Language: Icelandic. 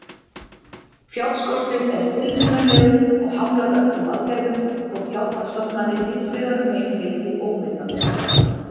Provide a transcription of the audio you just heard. Fjárskortur er tilfinnanlegur og hamlar öllum aðgerðum, þótt hjálparstofnanir víðsvegar um heim veiti ómetanlega hjálp.